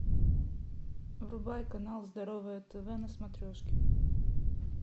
врубай канал здоровое тв на смотрешке